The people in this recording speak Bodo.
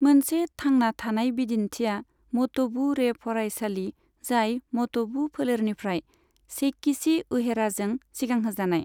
मोनसे थांना थानाय बिदिन्थिया मट'बु रे फरायसालि जाय मट'बु फोलेरनिफ्राय सेइकिचि उहेराजों सिगांहोजानाय।